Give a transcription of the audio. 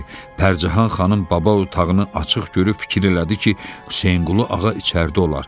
Pərcahan xanım baba otağını açıq görüb fikir elədi ki, Hüseynqulu ağa içəridə olar.